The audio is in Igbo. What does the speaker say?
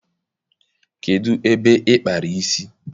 Kedụ ebe ị kpara isi?